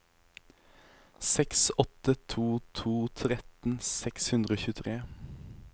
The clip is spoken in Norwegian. seks åtte to to tretten seks hundre og tjuetre